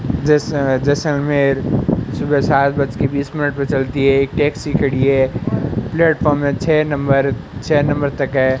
जैसे जैसलमेर सुबह सात बज के बीस मिनट पे चलती है एक टैक्सी खड़ी है प्लेटफार्म में छह नंबर छह नंबर तक है।